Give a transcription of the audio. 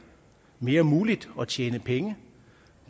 mere muligt at tjene penge